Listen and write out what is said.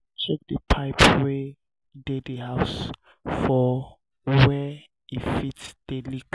check di um pipes wey dey di house for were um e fit um dey leak